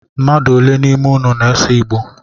Mmmadụ ole n’ime inu na-ese Igbo?